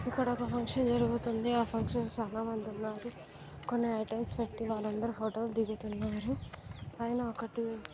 ఇక్కడొక ఫంక్షన్ జరుగుతోంది. ఆ ఫంక్షన్ చాలా మంది ఉన్నారు. కొన్ని ఐటమ్స్ పెట్టి వాళ్ళందరూ ఫోటోలు దిగుతున్నారు. పైన ఒకటి--